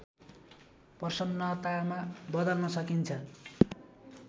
प्रसन्नतामा बदल्न सकिन्छ